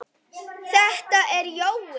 Þetta er Jói!